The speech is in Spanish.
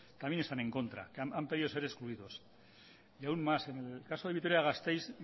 también están en contra han pedido ser excluidos y aún más en el caso de vitoria gasteiz